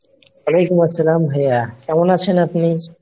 ওয়ালাইকুমুস-সালাম ভাইয়া কেমন আছেন আপনি ?